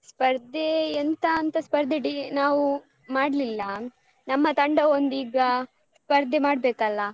ಸ್ಪರ್ಧೇ ಎಂತಾಂತ ಸ್ಪರ್ಧೆ ನಾವು ಮಾಡ್ಲಿಲ್ಲ ನಮ್ಮ ತಂಡ ಒಂದ್ ಈಗ ಸ್ಪರ್ಧೆ ಮಾಡ್ಬೇಕಲ್ಲ.